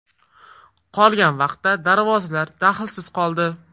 Qolgan vaqtda darvozalar dahlsiz qoldi.